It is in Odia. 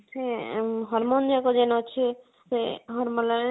ହଁ ସେ hormone ଯାକ ଯେନ ଅଛି ଆଁ ସେ hormonal